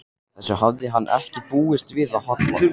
Þessu hafði hann ekki búist við af Halla.